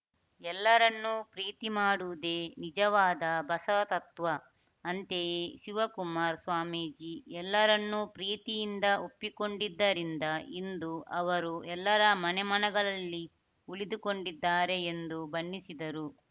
ಎಲ್ಲರನ್ನೂ ಪ್ರೀತಿ ಮಾಡುವುದೇ ನಿಜವಾದ ಬಸವ ತತ್ವ ಅಂತೆಯೇ ಶಿವಕುಮಾರ್ ಸ್ವಾಮೀಜಿ ಎಲ್ಲರನ್ನೂ ಪ್ರೀತಿಯಿಂದ ಒಪ್ಪಿಕೊಂಡಿದ್ದರಿಂದ ಇಂದು ಅವರು ಎಲ್ಲರ ಮನೆ ಮನದಲ್ಲಿ ಉಳಿದುಕೊಂಡಿದ್ದಾರೆ ಎಂದು ಬಣ್ಣಿಸಿದರು